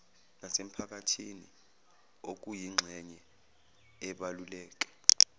nasemphakathini okuyingxenye ebaluleke